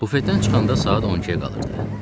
Bufetdən çıxanda saat 12-ə qalırdı.